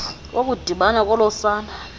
wokudibana kolo sana